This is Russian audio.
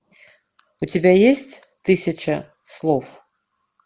у тебя есть тысяча слов